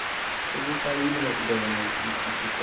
okusayinwe khona isicelo